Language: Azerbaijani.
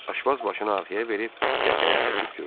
Aşpaz başını arxaya verib qəqəhə çəkib güldü.